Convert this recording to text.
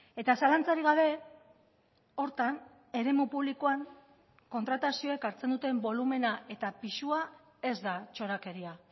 eta zalantzarik gabe horretan eremu publikoan kontratazioek hartzen duten bolumena eta pisua ez da txorakeria